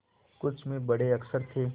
कुछ में बड़े अक्षर थे